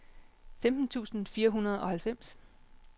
femten tusind fire hundrede og halvfems